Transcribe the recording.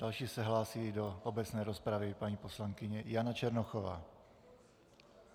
Další se hlásí do obecné rozpravy paní poslankyně Jana Černochová.